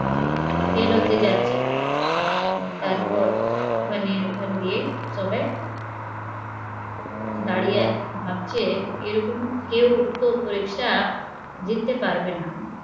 fail হয়ে যাচ্ছে তারপর মানে দাঁড়িয়ে ভাবছে এরকম কেউ তো জিততে পারবেনা